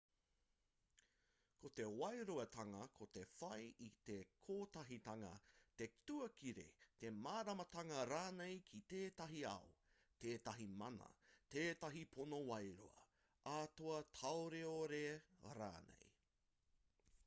ko te wairuatanga ko te whai i te kotahitanga te tuakiri te māramatanga rānei ki tētahi ao tētahi mana tētahi pono wairua atua taioreore rānei